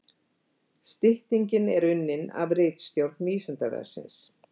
Styttingin er unnin af ritstjórn Vísindavefsins.